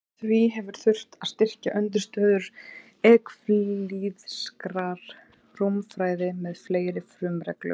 Því hefur þurft að styrkja undirstöður evklíðskrar rúmfræði með fleiri frumreglum.